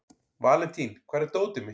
Valentín, hvar er dótið mitt?